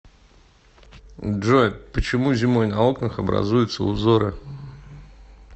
джой почему зимой на окнах образуются узоры